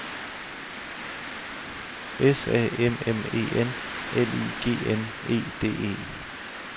S A M M E N L I G N E D E